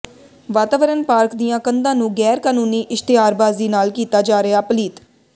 ਵਾਤਾਵਰਨ ਪਾਰਕ ਦੀਆਂ ਕੰਧਾਂ ਨੂੰ ਗੈਰ ਕਾਨੂੰਨੀ ਇਸ਼ਤਿਹਾਰਬਾਜ਼ੀ ਨਾਲ ਕੀਤਾ ਜਾ ਰਿਹੈ ਪਲੀਤ